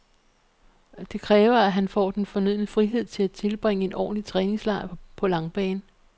Det kræver, at han får den fornødne frihed til at tilbringe en ordentlig træningslejr på langbane.